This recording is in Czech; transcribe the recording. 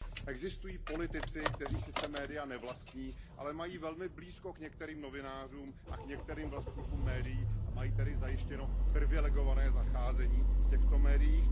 Existují politici, kteří sice média nevlastní, ale mají velmi blízko k některým novinářům a k některým vlastníkům médií a mají tedy zajištěno privilegované zacházení v těchto médiích.